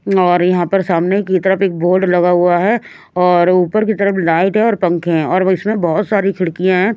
और यहाँ पर सामने की तरफ एक बोर्ड लगा हुआ है और ऊपर की तरफ लाइट है और पंखे हैं और इसमें बहुत सारी खिड़कियाँ हैं।